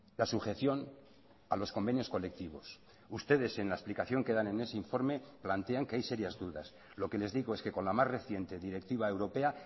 la sujeción a los convenios colectivos ustedes en la explicación que dan en ese informe plantean que hay serias dudas lo que les digo es que con la más reciente directiva europea